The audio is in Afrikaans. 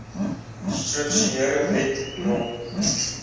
strukture wet no